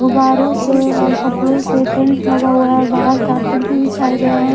गब्बरों से और कपड़ों से टेंट लगा हुआ है बाहर कारपेट भी बिछाय गए हैं।